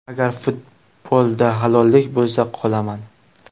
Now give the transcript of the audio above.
Agar futbolda halollik bo‘lsa, qolaman.